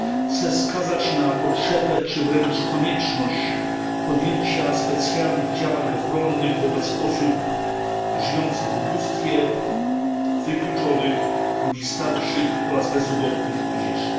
Chcę wskazać na potrzebę, czy wręcz konieczność, podjęcia specjalnych działań ochronnych wobec osób żyjących w ubóstwie, wykluczonych, ludzi starszych oraz bezrobotnych i młodzieży.